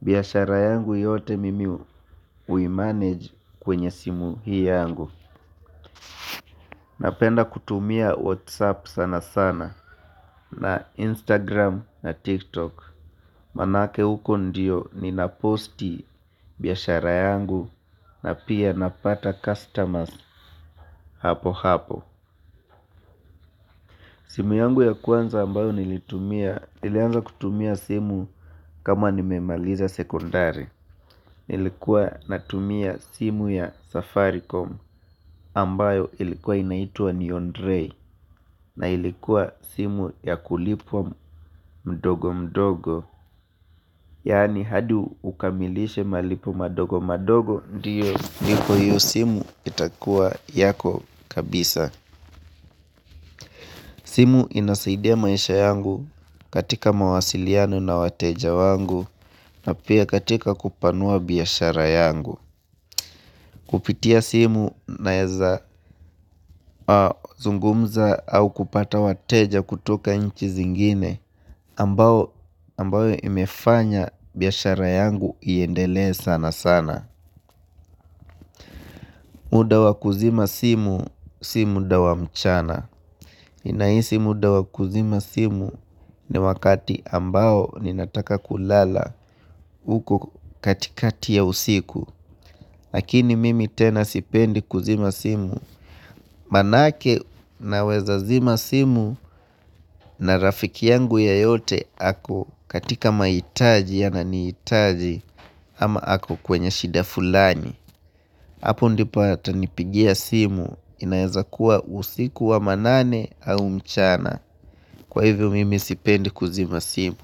Biashara yangu yote mimi uimanage kwenye simu hii yangu. Napenda kutumia whatsapp sana sana na instagram na tiktok. Manake huko ndiyo nina posti biashara yangu na pia napata customers. Hapo hapo. Simu yangu ya kwanza ambayo nilitumia ilianza kutumia simu kama nimemaliza sekondari. Nilikuwa natumia simu ya safaricom ambayo ilikuwa inaitwa neon rei na ilikuwa simu ya kulipwa mdogo mdogo. Yani hadi ukamilishe malipo madogo madogo ndiyo niko hiyo simu itakua yako kabisa. Simu inasaidia maisha yangu. Katika mawasiliano na wateja wangu na pia katika kupanua biashara yangu. Kupitia simu na eza zungumza au kupata wateja kutoka nchi zingine ambayo imefanya biyashara yangu iendelee sana sana. Muda wakuzima simu, simuda wa mchana. Inaisi muda wakuzima simu ni wakati ambao ninataka kulala uko katikati ya usiku lakini mimi tena sipendi kuzima simu manake naweza zima simu na rafiki yangu yeyote ako katika maitaji ananiitaji ama ako kwenye shida fulani hapo ndipato atanipigia simu inaeza kuwa usiku wa manane au mchana kwa hivyo mimi sipendi kuzima simu.